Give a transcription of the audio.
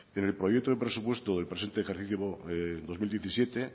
pero el proyecto de presupuesto del presente ejercicio dos mil diecisiete